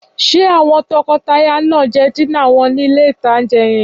Ṣé àwọn tọkọtaya náà jẹ dínà wọn ní ilé-ìtánjẹ yẹn?